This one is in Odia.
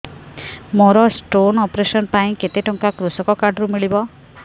ମୋର ସ୍ଟୋନ୍ ଅପେରସନ ପାଇଁ କେତେ ଟଙ୍କା କୃଷକ କାର୍ଡ ରୁ ମିଳିବ